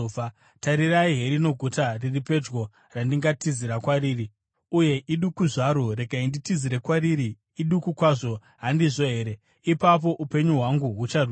Tarirai, herino guta riri pedyo randingatizira kwariri, uye iduku zvaro. Regai nditizire kwariri, iduku kwazvo, handizvo here? Ipapo upenyu hwangu hucharwirwa.”